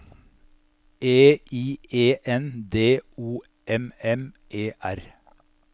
E I E N D O M M E R